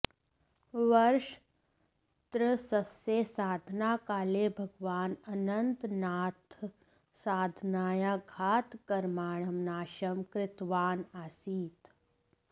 वर्षत्रस्यस्य साधनाकाले भगवान् अनन्तनाथः साधनायाः घातकर्मणां नाशं कृतवान् आसीत्